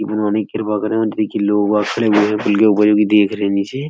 गुमानी के बगल में देखिए लोग देख रहे हैं नीचे।